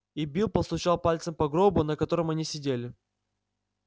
и билл постучал пальцем по гробу на котором они сидели